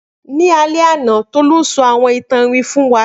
Ni alẹ ana Tolu sọ awọn itan iwin fun wa.